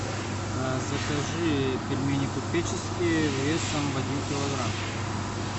закажи пельмени купеческие весом в один килограмм